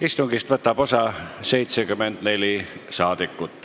Istungist võtab osa 74 saadikut.